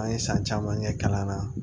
An ye san caman kɛ kalan na